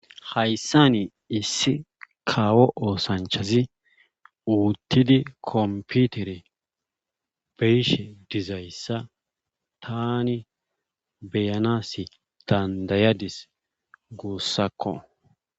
hayssani issi kawo oosanchazi uttidi kompitere be7ishe dizayssa taani be7anaassi danddayadis guussakko.